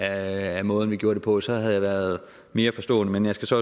af måden vi gør det på så havde jeg været mere forstående men jeg skal så